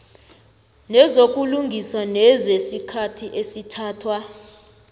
nezokulungisa nezesikhathi esithathwa